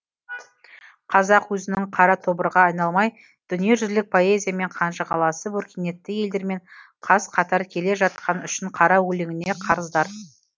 қазақ өзінің қара тобырға айналмай дүниежүзілік поэзиямен қанжығаласып өркениетті елдермен қаз қатар келе жатқан үшін қара өлеңіне қарыздар